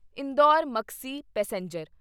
Indore Maksi passenger